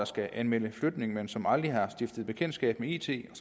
skal anmelde flytning men som aldrig har stiftet bekendtskab med it og